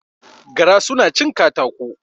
Gara su na cin katako